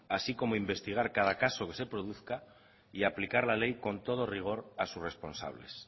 así como investigar cada caso que se produzca y aplicar la ley con todo rigor a sus responsables